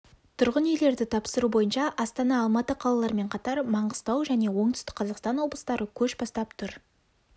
тұрғын үйлерді тапсыру бойынша астана алматы қалаларымен қатар маңғыстау және оңтүстік қазақстан облыстары көш бастап тұр